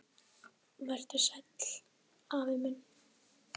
Vertu sæll, afi minn.